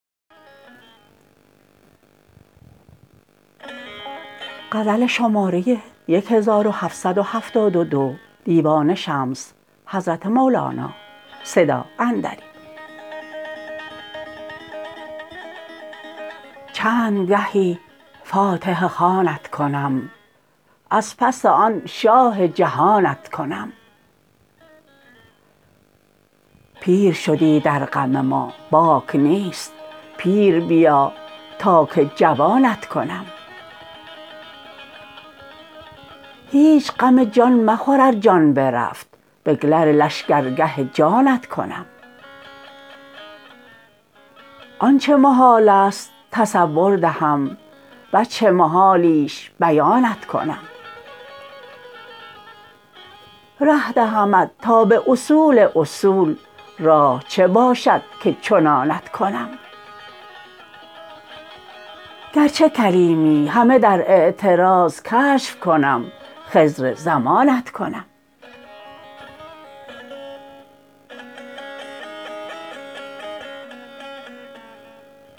چند گهی فاتحه خوانت کنم از پس آن شاه جهانت کنم پیر شدی در غم ما باک نیست پیر بیا تا که جوانت کنم هیچ غم جان مخور ار جان برفت بگلر لشکرگه جانت کنم آنچ محال است تصور دهم وجه محالیش بیانت کنم ره دهمت تا به اصول اصول راه چه باشد که چنانت کنم گرچه کلیمی همه در اعتراض کشف کنم خضر زمانت کنم